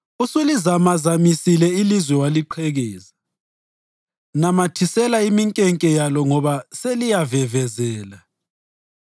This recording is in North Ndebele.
Usulizamazamisile ilizwe waliqhekeza; namathisela iminkenke yalo ngoba selivevezela.